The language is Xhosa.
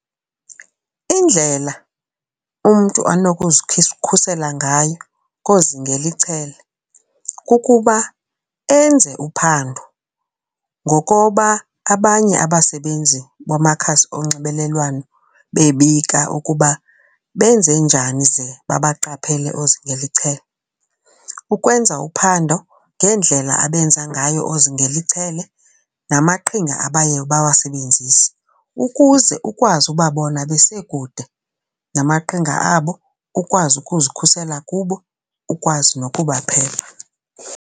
Indlela umntu khusela ngayo koozingela ichele kukuba enze uphando ngokoba abanye abasebenzi bamakhasi onxibelelwano bebika ukuba benze njani ze babaqaphele oozingela ichele. Ukwenza uphando ngendlela abenza ngayo oozingela ichelele namaqhinga abaye bawasebenzise ukuze ukwazi ubabona besekude namaqhinga abo, ukwazi ukuzikhusela kubo, ukwazi nokubaphepha.